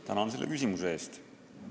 Tänan selle küsimuse eest!